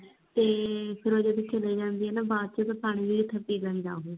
ਤੇ ਫਿਰ ਉਹ ਜਦੋਂ ਚਲੀ ਜਾਂਦੀ ਆ ਨਾ ਬਾਅਦ ਚ ਜੂਠਾ ਪਾਣੀ ਪੀ ਲੈਂਦਾ ਉਹ